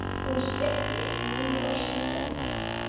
Hún hnippti í Nínu og sýndi henni.